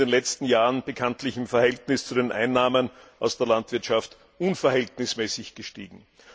Sie sind in den letzten Jahren bekanntlich im Verhältnis zu den Einnahmen aus der Landwirtschaft unverhältnismäßig gestiegen.